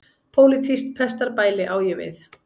Pólitískt pestarbæli á ég við.